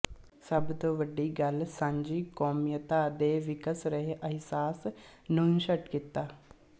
ਸਭ ਤੋਂ ਵੱਡੀ ਗੱਲ ਸਾਂਝੀ ਕੌਮੀਅਤ ਦੇ ਵਿਕਸ ਰਹੇ ਅਹਿਸਾਸ ਨੂੰਨਸ਼ਟ ਕੀਤਾ